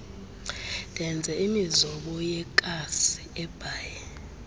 ndenza imizobo yekassiesbaai